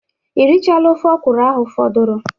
Ị rịchala ofe ọkwụrụ ahụ fọdụrụ?